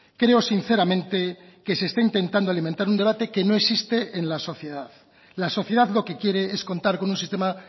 creo sinceramente que se está intentando alimentar un debate que no existe en la sociedad la sociedad lo que quiere es contar con un sistema